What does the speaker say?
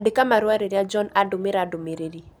Andĩka marũa rĩrĩa John andũmĩra ndũmĩrĩri